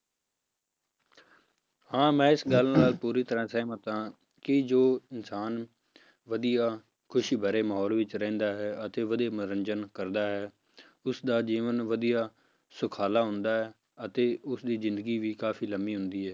ਹਾਂ ਮੈਂ ਇਸ ਗੱਲ ਨਾਲ ਪੂਰੀ ਤਰ੍ਹਾਂ ਸਹਿਮਤ ਹਾਂ ਕਿ ਜੋ ਇਨਸਾਨ ਵਧੀਆ ਖ਼ੁਸ਼ੀ ਭਰੇ ਮਾਹੌਲ ਵਿੱਚ ਰਹਿੰਦਾ ਹੈ ਅਤੇ ਵਧੀਆ ਮਨੋਰੰਜਨ ਕਰਦਾ ਹੈ ਉਸਦਾ ਜੀਵਨ ਵਧੀਆ ਸੁਖਾਲਾ ਹੁੰਦਾ ਹੈ ਅਤੇ ਉਸਦੀ ਜ਼ਿੰਦਗੀ ਵੀ ਕਾਫ਼ੀ ਲੰਬੀ ਹੁੰਦੀ ਹੈ।